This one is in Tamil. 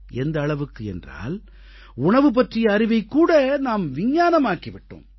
எந்த அளவுக்கு என்றால் உணவு பற்றிய அறிவைக் கூட நாம் விஞ்ஞானமாக்கி விட்டோம்